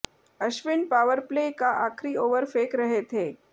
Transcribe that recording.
Ashwin powerplay का आखिरी over फेंक रहे थें